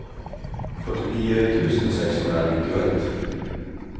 fyrtionio tusen sexhundranittioett